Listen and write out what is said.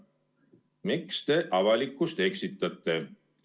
Miks te avalikkust eksitate?